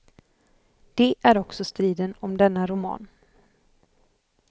Det är också striden om denna roman.